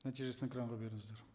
нәтижесін экранға беріңіздер